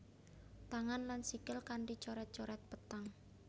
Tangan lan sikil kanti coret coret peteng